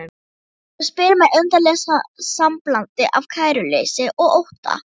Og spyr með undarlegu samblandi af kæruleysi og ótta